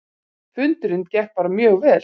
Fundurinn gekk bara mjög vel